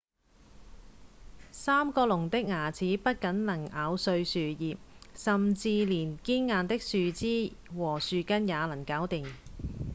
三角龍的牙齒不僅能咬碎樹葉甚至連堅硬的樹枝和樹根也能搞定